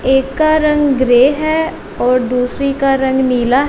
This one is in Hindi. एक का रंग ग्रे और दूसरी का रंग नीला--